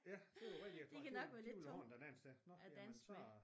Ja det jo rigtig jeg tror de de vil have andet at danse til nå jamen så